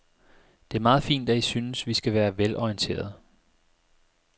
Det er meget fint, at I synes, vi skal være velorienterede.